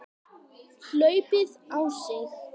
hlaupið á sig?